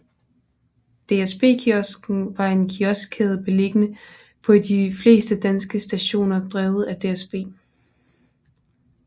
DSB Kiosken var en kioskkæde beliggende på de fleste danske stationer drevet af DSB